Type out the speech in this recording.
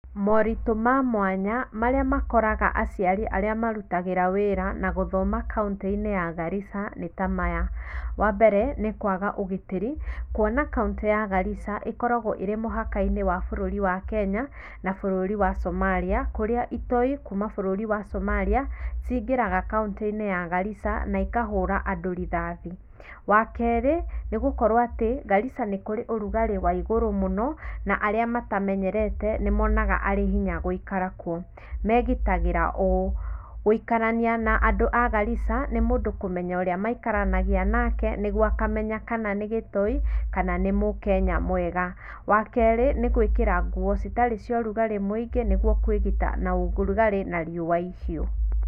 Moritũ ma mwanya marĩa makoraga aciari arĩa marutagĩra wĩra na gũthoma kaũntĩinĩ ya Garissa nĩtamaya. Wa mbere nĩkwaga ũgitĩri kwona kaũntĩ ya Garissa ĩkoragwo ĩrĩ mũhakainĩ wa bũrũri wa Kenya na bũrũri wa Somalia kũrĩa itoi kuma bũrũri wa Somalia cingĩraga kaũntĩinĩ ya Garissa na ikahũra andũ rithathi. Wakerĩ nĩgũkorwo atĩ Garissa nĩkũrĩ ũrugarĩ wa igũrũ mũno na arĩa matamenyerete nĩ monaga arĩ hinya gũikara kwo. Megitagĩra ũũ gũikarania na andũ a Garissa nĩmũndũ kũmenya ũrĩa maikaranagia nake nĩguo akamenya kana nĩ gĩtoi kana nĩ mũkenya mwega wa kerĩ nĩ gwĩkĩra nguo citarĩ cia ũrugarĩ mũingĩ nĩguo kwĩgita na ũrugarĩ na riũa ihiũ.